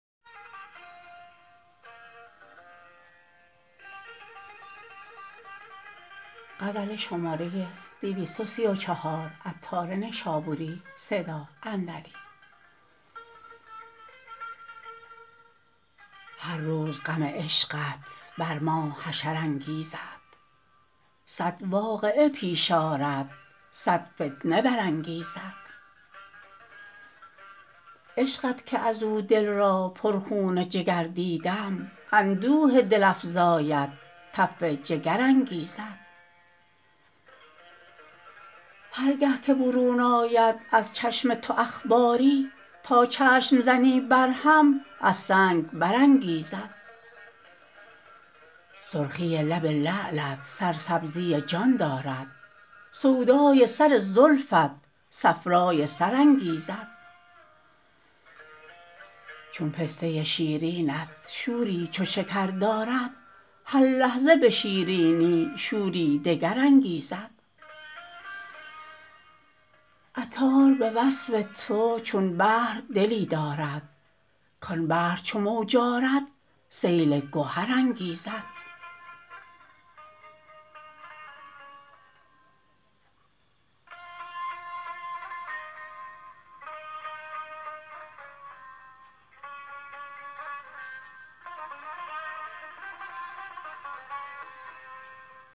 هر روز غم عشقت بر ما حشر انگیزد صد واقعه پیش آرد صد فتنه برانگیزد عشقت که ازو دل را پر خون جگر دیدم اندوه دل افزایت تف جگر انگیزد هرگه که برون آید از چشم تو اخباری تا چشم زنی بر هم از سنگ برانگیزد سرخی لب لعلت سرسبزی جان دارد سودای سر زلفت صفرای سر انگیزد چون پسته شیرینت شوری چو شکر دارد هر لحظه به شیرینی شوری دگر انگیزد عطار به وصف تو چون بحر دلی دارد کان بحر چو موج آرد سیل گهر انگیزد